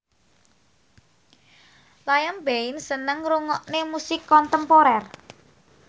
Liam Payne seneng ngrungokne musik kontemporer